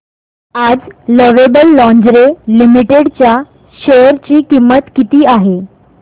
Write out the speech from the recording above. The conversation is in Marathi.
आज लवेबल लॉन्जरे लिमिटेड च्या शेअर ची किंमत किती आहे